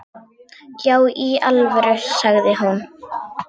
Já í alvöru, sagði hún.